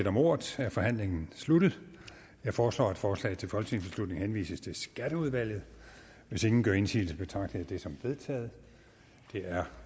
om ordet er forhandlingen sluttet jeg foreslår at forslaget til folketingsbeslutning henvises til skatteudvalget hvis ingen gør indsigelse betragter jeg dette som vedtaget det er